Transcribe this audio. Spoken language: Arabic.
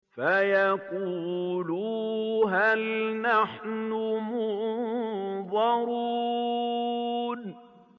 فَيَقُولُوا هَلْ نَحْنُ مُنظَرُونَ